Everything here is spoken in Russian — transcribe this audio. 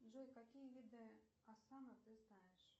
джой какие виды асана ты знаешь